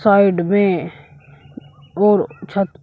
side में और छत पर--